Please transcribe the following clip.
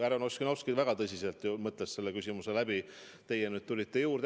Härra Ossinovski ju väga tõsiselt mõtles selle küsimuse läbi, nüüd teie tulite juurde.